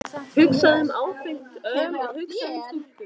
Hugsaðu um áfengt öl og hugsaðu um stúlkur!